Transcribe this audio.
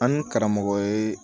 An ni karamɔgɔ ye